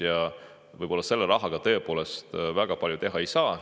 Ja võib-olla selle rahaga tõepoolest väga palju teha ei saa.